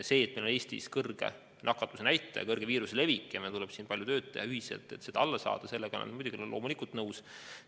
Sellega, et meil on Eestis nakatumisnäitaja ja viiruse levik suur ja et meil tuleb siin ühiselt palju tööd teha, et see näitaja alla saada, olen ma loomulikult nõus.